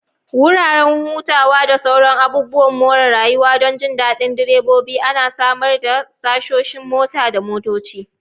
Wuraren hutawa da sauran abubuwan more rayuwa don jin daɗin direbobi ana samar da shoshin motaa na motoci.